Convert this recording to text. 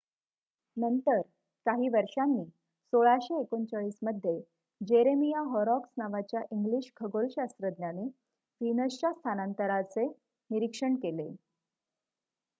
नंतर काही वर्षांनी 1639 मध्ये जेरेमिया हॉरॉक्स नावाच्या इंग्लिश खगोलशास्त्रज्ञाने व्हीनसच्या स्थानांतराचे निरीक्षण केले